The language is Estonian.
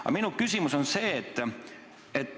Aga minu küsimus on selline.